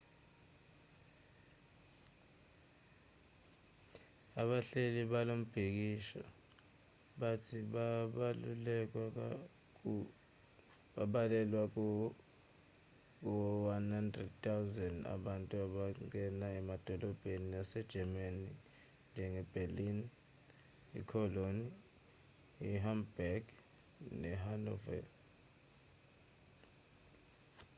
abahleli balombhikisho bathi babalelwa ku 100 000 abantu abangena emadolobheni ase-germanynjenge-berlin i-cologne i-hamburg ne-hanover